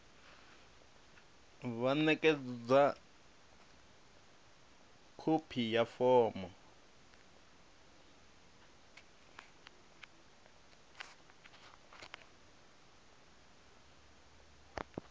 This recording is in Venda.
vha ṋekedze khophi ya fomo